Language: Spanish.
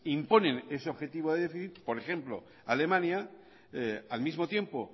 imponen ese objetivo de déficit por ejemplo alemania al mismo tiempo